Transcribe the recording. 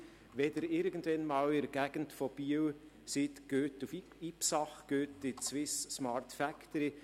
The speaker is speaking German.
: Wenn Sie irgendwann einmal in der Gegend von Biel sind, gehen Sie nach Ipsach zur Smart Factory.